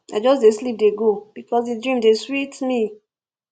i just dey sleep dey go because di dream dey sweet me